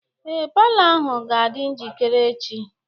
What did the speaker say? Ee, palọ ahụ ga-adị njikere echi.